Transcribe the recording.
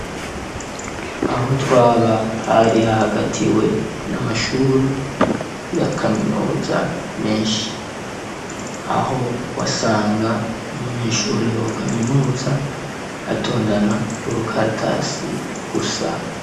Aho twaba hari hahagatiwe n'amashure ya kaminuza menshi, aho wasanga umunyeshure wa kaminuza atondana urukaratasi gusa.